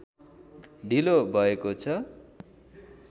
ढिलो भएको छ